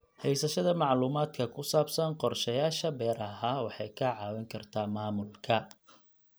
Haysashada macluumaadka ku saabsan qorshayaasha beeraha waxay kaa caawin kartaa maamulka.